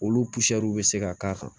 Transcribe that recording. Olu bɛ se ka k'a kan